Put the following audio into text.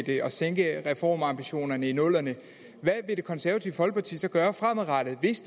til at sænke reformambitionerne i nullerne hvad vil det konservative folkeparti så gøre fremadrettet hvis